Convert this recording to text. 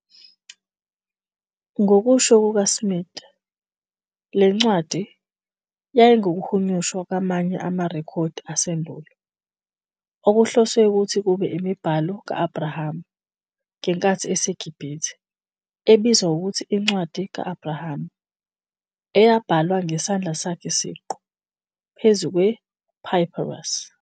Ngokusho kukaSmith, le ncwadi "yayingukuhunyushwa kwamanye amarekhodi asendulo okuhloswe ukuthi kube imibhalo ka- Abrahama, ngenkathi eseGibhithe, ebizwa ngokuthi iNcwadi ka-Abrahama, eyabhalwa ngesandla sakhe siqu, phezu kwe- papyrus ".